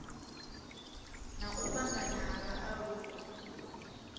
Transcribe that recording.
na u fhambana ha vhaaluwa